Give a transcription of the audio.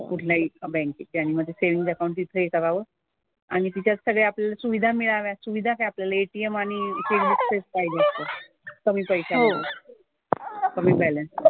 कुठल्याही बँकेत. आणि मग ते सेव्हिन्ग अकाउंट तिथे हे करावं. आणि तिच्यात सगळे आपल्याला सुविधा मिळाव्यात. सुविधा काय? आपल्याला ATM आणि चेकबुक च पाहिजे असतं. निम्मी पैश्यामधे. कमी बॅलन्स मधे.